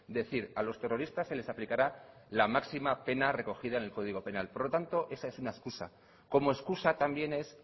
decir a los terroristas se les aplicará la máxima pena recogida en el código penal por lo tanto esta es una excusa como excusa también es